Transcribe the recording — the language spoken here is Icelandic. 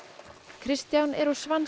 Kristján er úr